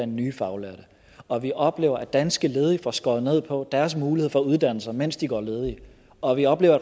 nye faglærte og vi oplever at danske ledige får skåret ned på deres mulighed for at uddannelse sig mens de går ledige og vi oplever